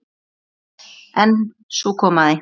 En svo kom að því.